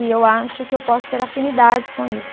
E eu acho que eu posso ter afinidades com isso.